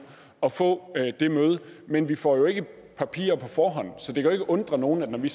at få det møde men vi får jo ikke papirer på forhånd så det kan jo ikke undre nogen at da vi